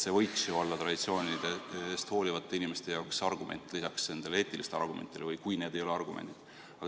See võiks ju olla traditsioonidest hoolivate inimeste jaoks argument, kas lisaks eetiliste argumentidele või siis, kui need ei olegi argumendid.